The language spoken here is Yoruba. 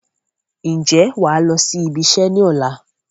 Ǹjẹ́ wàá lọ sí ibi iṣẹ́ ni ọ̀la?